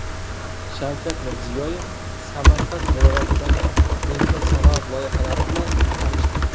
Shavkat Mirziyoyev Samarqand viloyatidagi yengil sanoat loyihalari bilan tanishdi.